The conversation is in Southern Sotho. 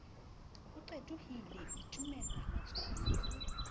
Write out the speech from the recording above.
e qethohile edumella matswejana ho